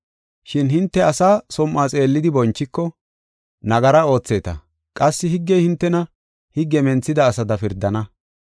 Shin hinte asa som7o xeellidi bonchiko, nagara ootheeta qassi higgey hintena higge menthida asada pirdana.